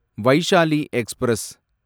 Vaishali express